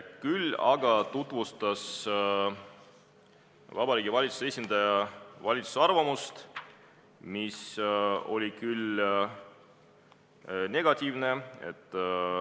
Küll aga tutvustas Vabariigi Valitsuse esindaja valitsuse arvamust, mis oli negatiivne.